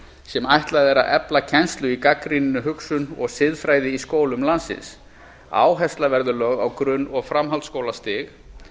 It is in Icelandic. sem ætlað er að efla kennslu í gagnrýninni hugsun og siðfræði í skólum landsins áhersla verður einkum lögð á grunn og framhaldsskólastig